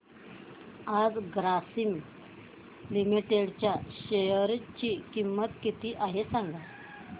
आज ग्रासीम लिमिटेड च्या शेअर ची किंमत किती आहे सांगा